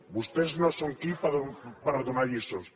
vostès no són qui per donar lliçons